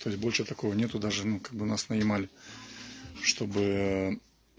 то есть больше такого нет даже ну когда нас нанимали чтобы